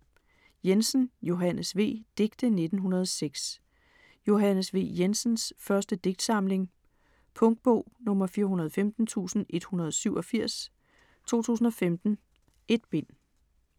Jensen, Johannes V.: Digte 1906 Johannes V. Jensens første digtsamling. Punktbog 415187 2015. 1 bind.